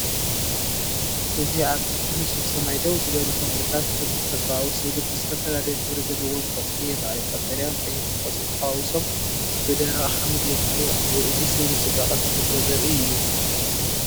እዚ ኣብ ትሕቲ ንጹር ሰማይ ደው ዝበሉ ተክልታት ከም ተፈጥሮኣዊ ስእሊ ብዝተፈላለየ ሕብሪ ዘለዎም ቆጽሊ ይራኣዩ። ቀጠልያን ቀይሕን ቆጽሊ ተሓዋዊሶም ብደረቕ ሓመድ ይረኣዩ ኣለው። እዚ ስእሊ ጽባቐ ተፈጥሮ ዘርኢ እዩ።